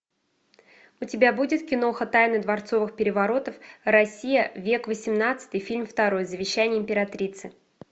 у тебя будет киноха тайны дворцовых переворотов россия век восемнадцатый фильм второй завещание императрицы